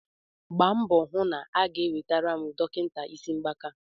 gbaa mbọ hụ na ha ga-ewetara m dọkịta isi mgbaka